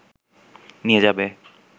নিয়ে যাবে